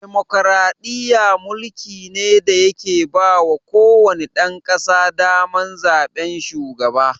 Demokaraɗiyya mulki ne da ya ke bawa ko wane ɗan ƙasa daman zaɓen shugaba